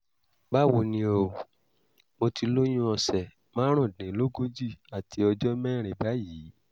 báwo ni o? mo ti lóyún ọ̀sẹ̀ márùndínlógójì àti ọjọ́ mẹ́rin báyìí